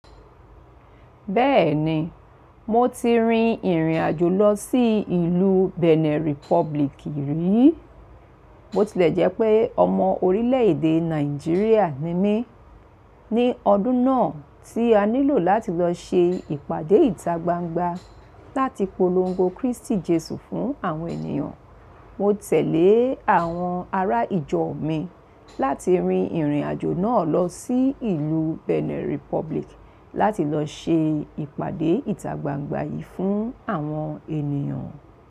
Bẹ́ẹ̀ni, mo ti rin ìrìn àjò lọ sí ìlú Benin Republic rí. Bo tilẹ̀ jẹ́ pé ọmọ orílè èdè Nàìjíríà ni mí. Ni ọdún náà tí a nílò láti lọ ṣe ìpàdé ìtagbangba táti polongo Kristi Jesu fún àwọn ènìyàn. Mo tẹ̀lé àwọn ará ìjọ mi láti rin ìrìn àjò náà lọ sí ìlú Benin Republic láti lọ ṣe ìpàdé ìtagbangba yìí fún àwọn ènìyàn.